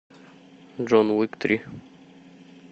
джон уик три